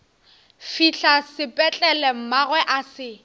fihla sepetlele mmagwe a se